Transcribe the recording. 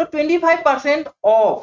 েso twenty five percent of